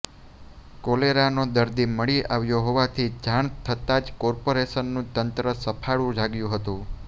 કોલેરાનો દર્દી મળી આવ્યો હોવાની જાણ થતાજ કોર્પોરેશનનું તંત્ર સફાળુ જાગ્યુ હતુ